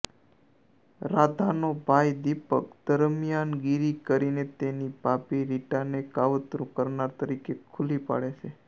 રાધાનો ભાઈ દીપક દરમિયાનગીરી કરીને તેની ભાભી રીટાને કાવતરું કરનાર તરીકે ખુલ્લી પાડે છે